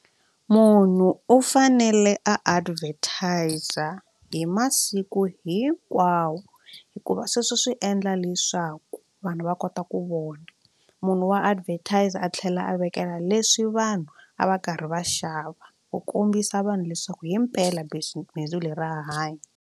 Munhu u fanele a advertiser hi masiku hinkwawo hikuva sweswo swi endla leswaku vanhu va kota ku vona munhu wa advertiser a tlhela a vekela leswi vanhu a va karhi va xava ku kombisa vanhu leswaku himpela bindzu leri ra hanya.